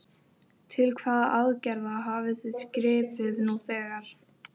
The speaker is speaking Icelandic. Til hvaða aðgerða hafið þið gripið nú þegar?